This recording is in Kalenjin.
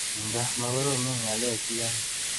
Nga makoromonen ng'alek chi anyun.